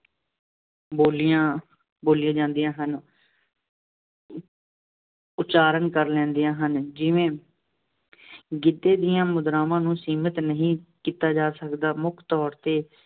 ਬੋਲੀਆਂ, ਬੋਲੀਆਂ ਜਾਂਦੀਆਂ ਹਨ। ਉਚਾਰਨ ਕਰ ਲੈਂਦੀਆ ਹਨ, ਜਿਵੇਂ ਗਿੱਧੇ ਦੀਆਂ ਮੁਦਰਾਵਾਂ ਨੂੰ ਸੀਮਿਤ ਨਹੀਂ ਕੀਤਾ ਜਾ ਸਕਦਾ। ਮੁੱਖ ਤੌਰ ਤੇ